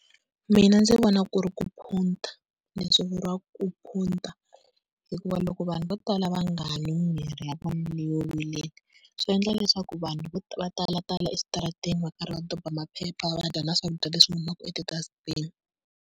Mina ndzi vona ku ri ku phunta, leswi vuriwaka ku phunta, hikuva loko vanhu vo tala va nga nwi mirhi ya vona leyo vilela, swi endla leswaku vanhu va talatala eswitarateni va karhi va doba maphepha, va dya na swakudya leswi humaka eti-dustbin-i.